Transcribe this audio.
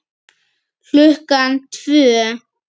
Klukkan tvö.